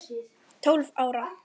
Tólf ára.